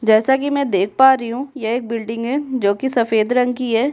जैसा कि मैं देख पा रही हूँ यह एक बिल्डिंग है जो कि सफेद रंग की है।